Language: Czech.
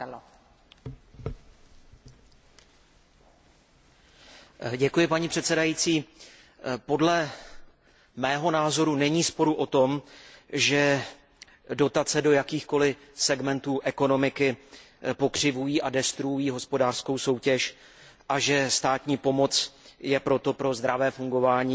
Podle mého názoru není sporu o tom, že dotace do jakýchkoliv segmentů ekonomiky pokřivují a ničí hospodářskou soutěž a že státní pomoc je proto pro zdravé fungování trhu škodlivá nejen krátkodobě, ale i dlouhodobě.